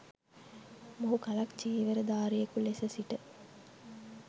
මොහු කලක්‌ චීවරධාරියකු ලෙස සිට